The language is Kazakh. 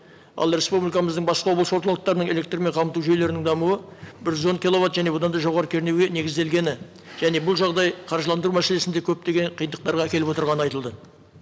ал республикамыздың басқа облыс орталықтарының электрмен қамту жүйелерінің дамуы бір жүз он киловатт және одан да жоғары кернеуге негізделгені және бұл жағдай қаржыландыру мәселесінде көптеген қиындықтарға әкеліп отырғаны айтылды